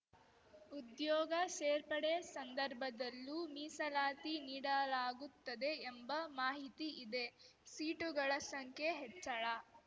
ಉದ್ಯೋಗ ಸೇರ್ಪಡೆ ಸಂದರ್ಭದಲ್ಲೂ ಮೀಸಲಾತಿ ನೀಡಲಾಗುತ್ತದೆ ಎಂಬ ಮಾಹಿತಿ ಇದೆ ಸೀಟುಗಳ ಸಂಖ್ಯೆ ಹೆಚ್ಚಳ